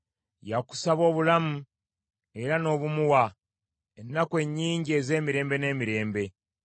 Yakusaba obulamu, era n’obumuwa, ennaku ennyingi ez’emirembe n’emirembe.